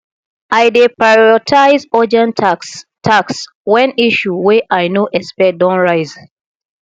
i dey prioritize urgent tasks tasks wen issue wey i no expect don rise